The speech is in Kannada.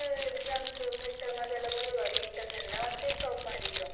ಅದು ಅಂತ ಹೇಳಿದ್ರೆ two months ಕೊಟ್ರು next exams, Midterm, Internals ಬರ್ವಾಗ ಎಲ್ಲಾ ಮತ್ತೆ stop ಮಾಡಿದ್ರು.